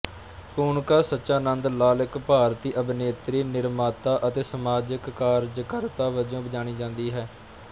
ਕੂਨਿਕਾ ਸਦਾਨੰਦ ਲਾਲ ਇੱਕ ਭਾਰਤੀ ਅਭਿਨੇਤਰੀ ਨਿਰਮਾਤਾ ਅਤੇ ਸਮਾਜਿਕ ਕਾਰਜਕਰਤਾ ਵਜੋਂ ਜਾਣੀ ਜਾਂਦੀ ਹੈ